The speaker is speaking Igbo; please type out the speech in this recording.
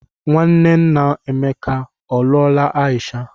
Nwanne nna Emeka ọ lụọla Aisha?